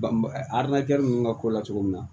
A adamadenya ninnu ka ko la cogo min na